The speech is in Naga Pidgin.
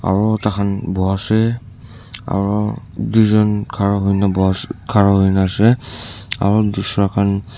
aro takhan boase aro duijon khara hoina buhoas khara hoina ase aro dusra khan.